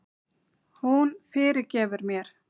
Hún fyrirgefur mér.